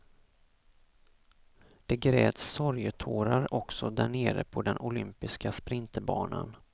Det gräts sorgetårar också därnere på den olympiska sprinterbanan.